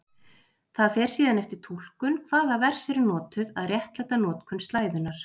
Það fer síðan eftir túlkun hvaða vers eru notuð að réttlæta notkun slæðunnar.